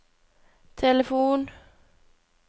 telefon